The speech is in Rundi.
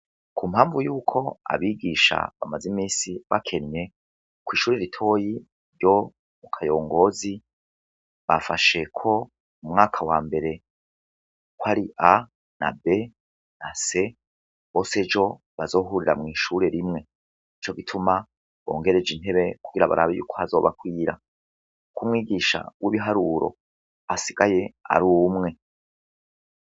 Kumpamvu yuko abigisha bamazimisi bakenye kw'ishure ritonyi ryo mu Kayongozi bafashe ko umwaka wambere kari A na B na C Bose ejo bazohurira mwishure rimwe, nico gituma bongereje intebe kugira barabe ko hazobakwira kumwigisha wibiharuro asigaye arumwe.